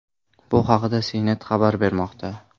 Bu haqda CNet xabar bermoqda .